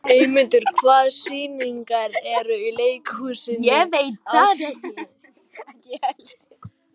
Eymundur, hvaða sýningar eru í leikhúsinu á sunnudaginn?